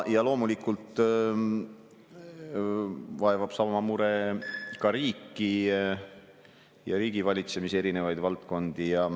Loomulikult vaevab sama mure ka riiki ja riigivalitsemise erinevaid valdkondi.